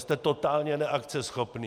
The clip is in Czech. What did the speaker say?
Jste totálně neakceschopní.